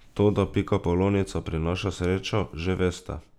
To, da pikapolonica prinaša srečo, že veste.